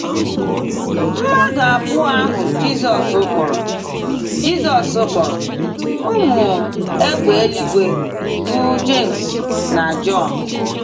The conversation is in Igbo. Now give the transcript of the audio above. Mmadụ abụọ ahụ Jizọs kpọrọ Jizọs kpọrọ “ Ụmụ Égbè Eluigwe ” bụ Jems na Jọn.